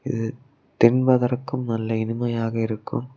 இத தின்பதற்கும் நல்ல இனிமையாக இருக்கும்.